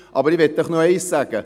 Ich möchte noch eins sagen.